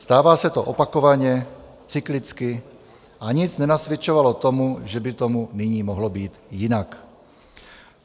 Stává se to opakovaně, cyklicky a nic nenasvědčovalo tomu, že by tomu nyní mohlo být jinak.